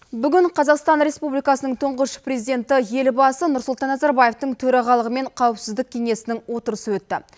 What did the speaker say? бүгін қазақстан республикасының тұңғыш президенті елбасы нұрсұлтан назарбаевтың төрағалығымен қауіпсіздік кеңесінің отырысы өтті